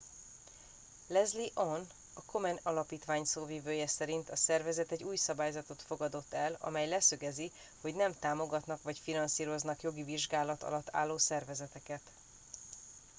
leslie aun a komen alapítvány szóvivője szerint a szervezet egy új szabályzatot fogadott el amely leszögezi hogy nem támogatnak vagy finanszíroznak jogi vizsgálat alatt álló szervezeteket